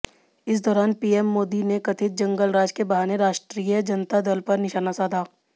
इस दौरान पीएम मोदी ने कथित जंगलराज के बहाने राष्ट्रीय जनता दल पर निशाना साधा